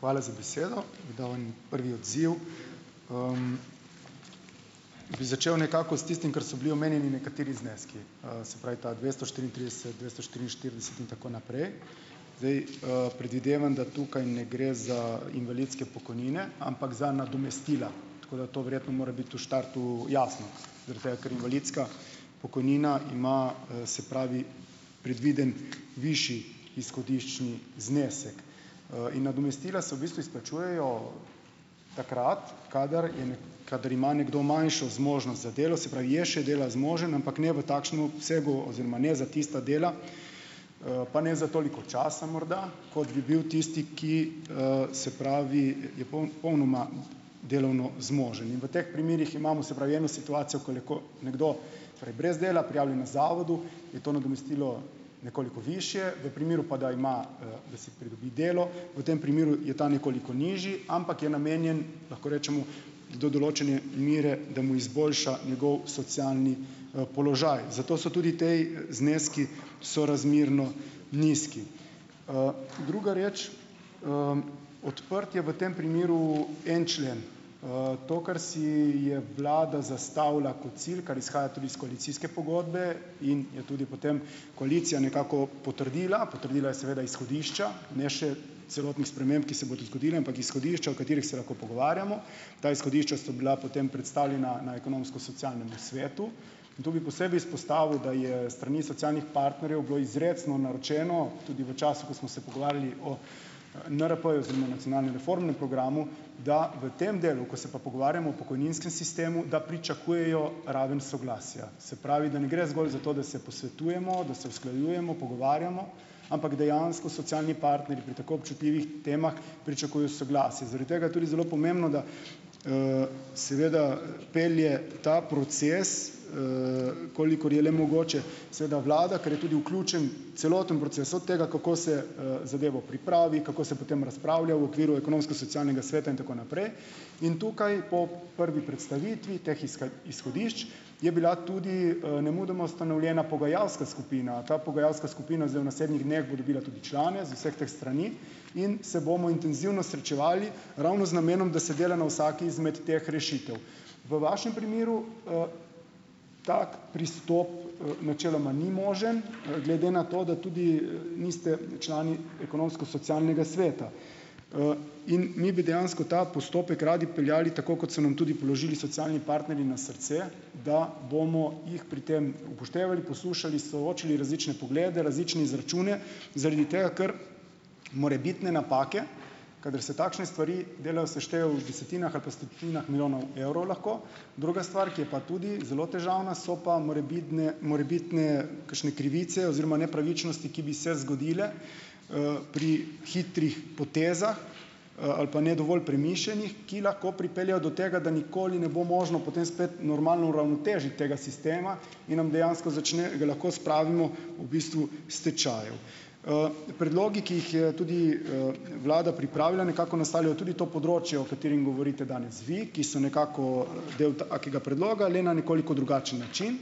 Hvala za besedo. Bi dal en prvi odziv. Bi začel nekako s tistim, ker so bili omenjeni nekateri zneski, se pravi, ta dvesto štiriintrideset, dvesto štiriinštirideset in tako naprej. Zdaj predvidevam, da tukaj ne gre za invalidske pokojnine, ampak za nadomestila, tako da to verjetno mora biti v štartu jasno, zaradi tega ker invalidska pokojnina ima, se pravi, predviden višji izhodiščni znesek in nadomestila se v bistvu izplačujejo takrat, kadar je kadar ima nekdo manjšo zmožnost za delo, se pravi, je še dela zmožen, ampak ne v takšnem obsegu oziroma ne za tista dela, pa ne za toliko časa morda, kot bi bil tisti, ki, se pravi, je popolnoma delovno zmožen. In v teh primerih imamo, se pravi, eno situacijo, ko je nekdo torej brez dela prijavljen na zavodu, je to nadomestilo nekoliko višje, v primeru pa, da ima, da si pridobi delo, v tem primeru je ta nekoliko nižji, ampak je namenjen, lahko rečemo, do določene mere, da mu izboljša njegov socialni položaj. Zato so tudi tej zneski sorazmerno nizki. Druga reč. Odprt je v tem primeru en člen. To, kar si je vlada zastavila kot cilj, kar izhaja tudi iz koalicijske pogodbe in je tudi potem koalicija nekako potrdila, potrdila je seveda izhodišča, ne še celotnih sprememb, ki se bodo zgodile, ampak izhodišča, o katerih se lahko pogovarjamo. Ta izhodišča so bila potem predstavljena na Ekonomsko-socialnem svetu in tu bi posebej izpostavil, da je s strani socialnih partnerjev bilo izrecno naročeno, tudi v času, ko smo se pogovarjali o NRP-ju oziroma Nacionalnem reformnem programu, da v tem delu, ko se pa pogovarjamo o pokojninskem sistemu, da pričakujejo raven soglasja. Se pravi, da ne gre zgolj za to, da se posvetujemo, da se usklajujemo, pogovarjamo, ampak dejansko socialni partnerji pri tako občutljivih temah pričakujejo soglasje. Zaradi tega tudi zelo pomembno, da seveda pelje ta proces, kolikor je le mogoče seveda vlada, ker je tudi vključen celoten proces od tega, kako se zadevo pripravi, kako se potem razpravlja v okviru Ekonomsko-socialnega sveta in tako naprej. In tukaj po prvi predstavitvi teh izhodišč je bila tudi nemudoma ustanovljena pogajalska skupina. Ta pogajalska skupina zdaj v naslednjih dneh bo dobila tudi člane z vseh teh strani in se bomo intenzivno srečevali, ravno z namenom, da se dela na vsaki izmed teh rešitev. V vašem primeru tak pristop načeloma ni možen, glede na to, da tudi niste člani Ekonomsko-socialnega sveta in mi bi dejansko ta postopek radi peljali tako, kot so nam tudi položili socialni partnerji na srce, da bomo jih pri tem upoštevali, poslušali, soočili različne poglede, različne izračune, zaradi tega, ker morebitne napake, kadar se takšne stvari delajo, seštevajo v desetinah ali pa stotinah milijonov evrov lahko. Druga stvar, ki je pa tudi zelo težavna, so pa morebitne, morebitne kakšne krivice oziroma nepravičnosti, ki bi se zgodile pri hitrih potezah ali pa ne dovolj premišljenih, ki lahko pripeljejo do tega, da nikoli ne bo možno potem spet normalno uravnotežiti tega sistema in nam dejansko začne, ga lahko spravimo v bistvu k stečaju. Predlogi, ki jih je tudi vlada pripravila, nekako naslavljajo tudi to področje, o katerem govorite danes vi, ki so nekako del takega predloga, le na nekoliko drugačen način.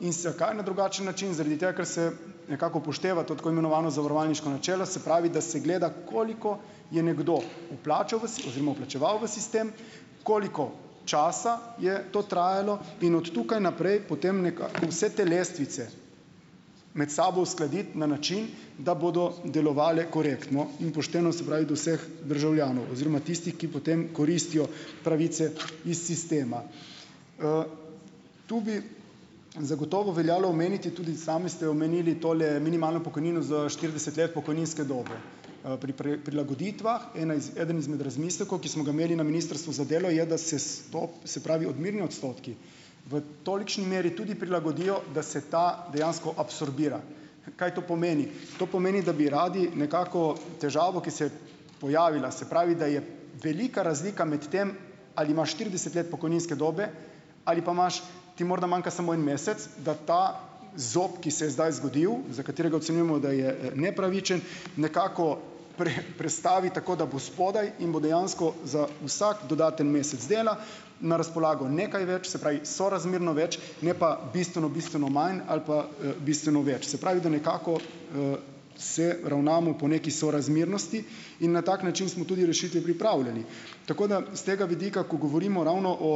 In zakaj na drugačen način? Zaradi tega, ker se nekako upošteva to tako imenovano zavarovalniško načelo, se pravi, da se gleda, koliko je nekdo vplačal v oziroma vplačeval v sistem, koliko časa je to trajalo, in od tukaj naprej potem nekako vse te lestvice med sabo uskladiti na način, da bodo delovale korektno in pošteno, se pravi do vseh državljanov oziroma tistih, ki potem koristijo pravice iz sistema. Tu bi zagotovo veljalo omeniti, tudi sami ste omenili tole minimalno pokojnino za štirideset let pokojninske dobe. Pri prilagoditvah iz eden izmed razmislekov, ki smo ga imeli na Ministrstvu za delo, je, da se s to, se pravi odmerni odstotki v tolikšni meri tudi prilagodijo, da se ta dejansko absorbira. Kaj to pomeni? To pomeni, da bi radi nekako težavo, ki se je pojavila, se pravi, da je velika razlika med tem, ali ima štirideset let pokojninske dobe, ali pa imaš, ti morda manjka samo en mesec, da ta zob, ki se je zdaj zgodil, za katerega ocenjujemo, da je nepravičen, nekako prestavi tako, da bo spodaj in bo dejansko za vsak dodaten mesec dela na razpolago nekaj več, se pravi sorazmerno več, ne pa bistveno, bistveno manj ali pa bistveno več. Se pravi, da nekako se ravnamo po neki sorazmernosti in na tak način smo tudi rešitvi pripravljali, tako da s tega vidika, ko govorimo ravno o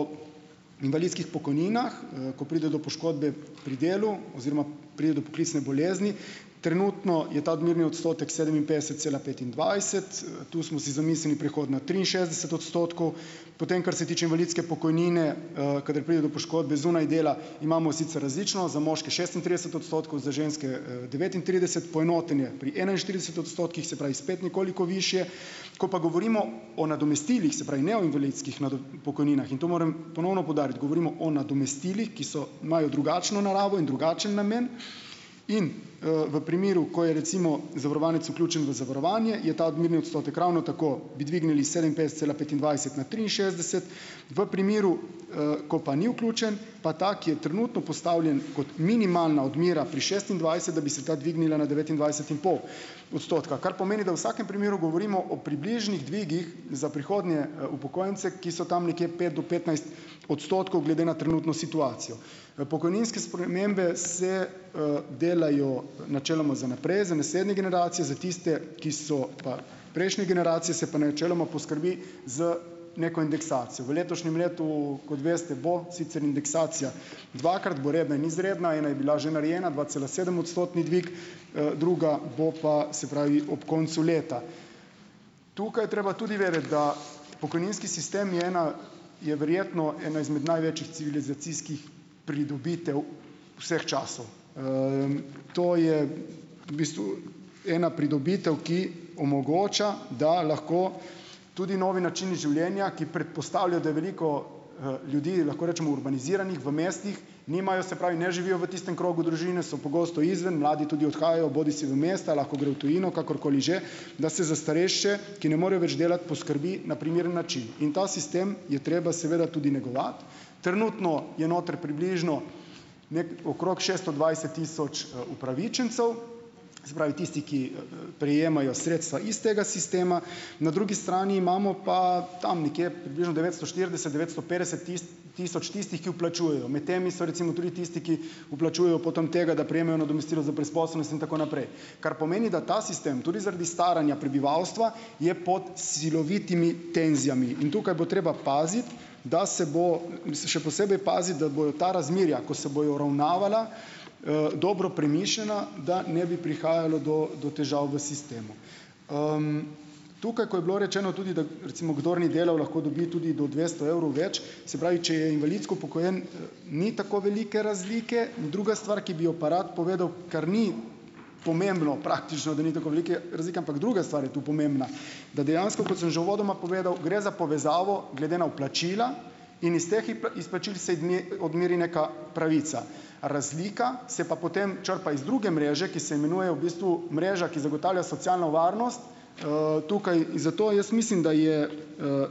invalidskih pokojninah, ko pride do poškodbe pri delu oziroma pride do poklicne bolezni, trenutno je ta odmerni odstotek sedeminpetdeset cela petindvajset, tu smo si zamislili prehod na triinšestdeset odstotkov. Potem, kar se tiče invalidske pokojnine, kadar pride do poškodbe zunaj dela imamo sicer različno - za moške šestintrideset odstotkov, za ženske devetintrideset, poenoten je pri enainštirideset odstotkih, se pravi spet nekoliko višje. Ko pa govorimo o nadomestilih, se pravi, ne o invalidskih pokojninah, in to moram ponovno poudariti, govorimo o nadomestilih, ki so, imajo drugačno naravo in drugačen namen, in v primeru, ko je recimo zavarovanec vključen v zavarovanje, je ta odmerni odstotek, ravno tako bi dvignili sedeminpetdeset cela petindvajset na triinšestdeset. V primeru, ko pa ni vključen, pa ta, ki je trenutno postavljen kot minimalna odmera pri šestindvajset, da bi se ta dvignila na devetindvajset in pol odstotka, kar pomeni, da v vsakem primeru govorimo o približnih dvigih za prihodnje upokojence, ki so tam nekje pet do petnajst odstotkov glede na trenutno situacijo. Pokojninske spremembe se delajo načeloma za naprej za naslednje generacije, za tiste, ki so pa prejšnje generacije, se pa načeloma poskrbi z neko indeksacijo. V letošnjem letu, kot veste, bo sicer indeksacija dvakrat, bo redna in izredna. Ena je bila že narejena dvacelasedemodstotni dvig, druga bo pa, se pravi, ob koncu leta. Tukaj je treba tudi vedeti, da pokojninski sistem je ena, je verjetno ena izmed največjih civilizacijskih pridobitev vseh časov. To je v bistvu ena pridobitev, ki omogoča, da lahko tudi novi način življenja, ki predpostavlja, da veliko ljudi, lahko rečemo, urbaniziranih v mestih nimajo, se pravi, ne živijo v tistem krogu družine, so pogosto izven, mladi tudi odhajajo bodisi v mesta, lahko grejo v tujino, kakorkoli že, da se za starejše, ki ne morejo več delati, poskrbi na primeren način in ta sistem je treba seveda tudi negovati. Trenutno je notri približno okrog šeststo dvajset tisoč upravičencev, se pravi, tisti, ki prejemajo sredstva iz tega sistema. Na drugi strani imamo pa tam nekje približno devetsto štirideset, devetsto petdeset tisoč tistih, ki vplačujejo. Med temi so recimo tudi tisti, ki vplačujejo potem tega, da prejemajo nadomestila za brezposelnost in tako naprej. Kar pomeni, da ta sistem tudi zaradi staranja prebivalstva je pod silovitimi tenzijami in tukaj bo treba paziti, da se bo, mislim še posebej paziti, da bojo ta razmerja, ko se bojo uravnavala dobro premišljena, da ne bi prihajalo do do težav v sistemu. Tukaj, ko je bilo rečeno tudi, da recimo kdor ni delal, lahko dobi tudi do dvesto evrov več, se pravi, če je invalidsko upokojen, ni tako velike razlike. Druga stvar, ki bi jo pa rad povedal, kar ni pomembno praktično, da ni tako velike razlike, ampak druga stvar je tu pomembna, da dejansko, kot sem že uvodoma povedal, gre za povezavo glede na vplačila, in iz teh izplačil se odmeri neka pravica, razlika se pa potem črpa iz druge mreže, ki se imenuje v bistvu mreža, ki zagotavlja socialno varnost, tukaj zato jaz mislim, da je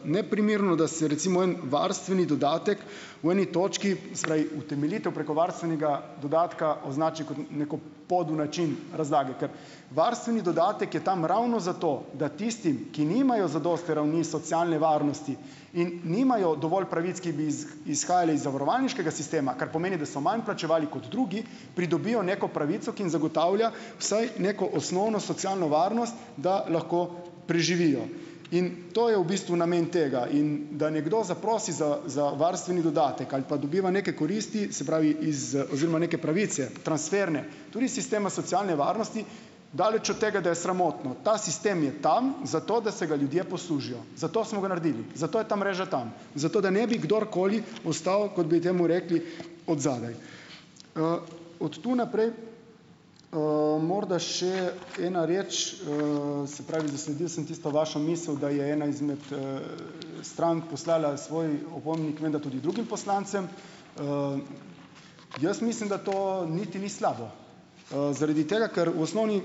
neprimerno, da se recimo en varstveni dodatek v eni točki, se pravi utemeljitev preko varstvenega dodatka, označi kot neko podel način razlage. Ker varstveni dodatek je tam ravno zato, da tistim, ki nimajo zadosti ravni socialne varnosti in nimajo dovolj pravic, ki bi izhajale iz zavarovalniškega sistema, kar pomeni, da so manj vplačevali kot drugi, pridobijo neko pravico, ki jim zagotavlja vsaj neko osnovno socialno varnost, da lahko preživijo, in to je v bistvu namen tega. In da nekdo zaprosi za za varstveni dodatek ali pa dobiva neke koristi, se pravi, iz oziroma neke pravice transferne tudi iz sistema socialne varnosti. Daleč od tega, da je sramotno. Ta sistem je tam, zato da se ga ljudje poslužijo, zato smo ga naredili, zato je ta mreža tam, zato da ne bi kdorkoli ostal, kot bi temu rekli od zadaj. od tu naprej morda še ena reč, se pravi, zasledil sem tisto vašo misel, da je ena izmed strank poslala svoj opomnik menda tudi drugim poslancem. Jaz mislim, da to niti ni slabo, zaradi tega, ker v osnovni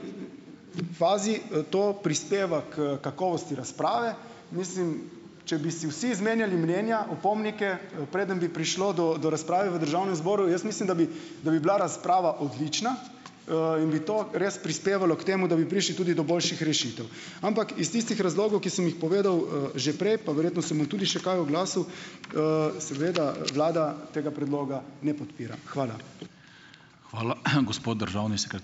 fazi to prispeva k kakovosti razprave. Mislim, če bi si vsi zmenjali mnenja, opomnike, preden bi prišlo do do razprave v Državnem zboru, jaz mislim, da bi da bi bila razprava odlična in bi to res prispevalo k temu, da bi prišli tudi do boljših rešitev. Ampak iz tistih razlogov, ki sem jih povedal že prej, pa verjetno se bom tudi še kaj oglasil, seveda vlada tega predloga ne podpira. Hvala.